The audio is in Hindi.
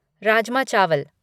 राजमा चावल